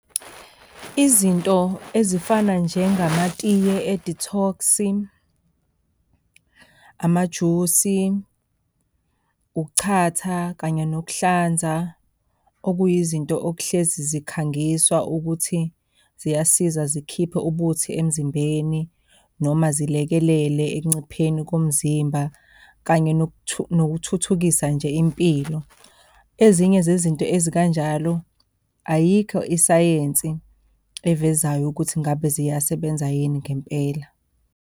Izinto ezifana njengamatiye e-detox-i, amajusi, ukuchatha kanye nokuhlanza. Okuyizinto okuhlezi zikhangiswa ukuthi ziyasiza zikhiphe ubuthi emzimbeni noma zilekelele ekuncipheni komzimba kanye nokuthuthukisa nje impilo, ezinye zezinto ezikanjalo ayikho isayensi evezayo ukuthi ngabe ziyasebenza yini ngempela.